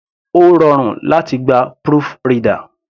Ó rọrùn láti gba proofreader.